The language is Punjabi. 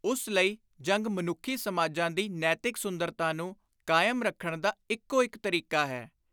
ਉਸ ਲਈ ਜੰਗ ਮਨੁੱਖੀ ਸਮਾਜਾਂ ਦੀ ਨੈਤਿਕ ਸੁੰਦਰਤਾ ਨੂੰ ਕਾਇਮ ਰੱਖਣ ਦਾ ਇਕੋ ਇਕ ਤਰੀਕਾ ਹੈ।